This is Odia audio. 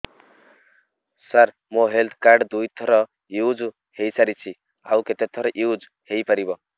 ସାର ମୋ ହେଲ୍ଥ କାର୍ଡ ଦୁଇ ଥର ୟୁଜ଼ ହୈ ସାରିଛି ଆଉ କେତେ ଥର ୟୁଜ଼ ହୈ ପାରିବ